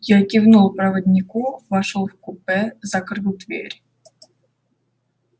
я кивнул проводнику вошёл в купе закрыл дверь